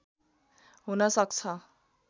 हुन सक्छ